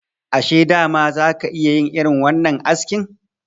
Ashe dama za ka yi irin wannan askin?